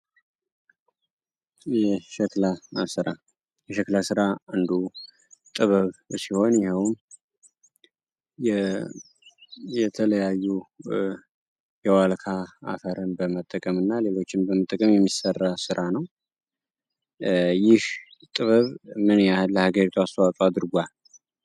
የሸክላ ስራ የሸክለ ሥራ አንዱ ጥበብ ሲሆን ይኸውም የተለያዩ የዋልካ አፈርን በመጠቀም እና ሌሎችን በመጠቀም የሚሰራ ስራ ነው። ይህ ጥበብ ምን ያህን ለሀገሪቷ አሰዋጾ አድርጓል?